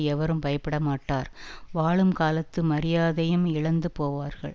எவரும் பயப்படமாட்டார் வாழும் காலத்து மரியாதையும் இழந்த போவார்கள்